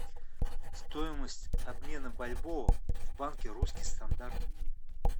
стоимость обмена бальбоа в банке русский стандарт